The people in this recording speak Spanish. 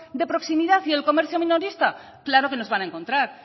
de proximidad y el comercio minorista claro que nos van a encontrar